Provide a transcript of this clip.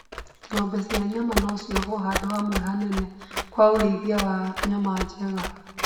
Ng'ombe cia nyama no ciohwo handũ hamwe hanene kwa ũrĩithia wa nyama njega